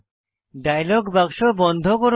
dialogue বাক্স বন্ধ করুন